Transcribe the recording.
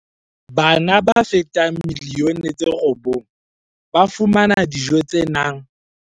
Bana ba fetang milioni tse robong ba fumana dijo tse nang